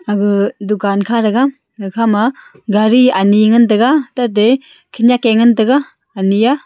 aga dukan kha thega gakha ma gari ani ngan tega tate khanak ke ngan tega ani ya.